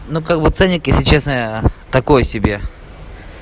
ну как бы ценник если честно такой себе